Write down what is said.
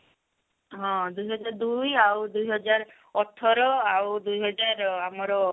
ହଁ ଦୁଇ ହଜାର ଦୁଇ ଆଉ ଦୁଇ ହଜାର ଅଠର ଆଉ ଦୁଇ ହଜାର ଆମର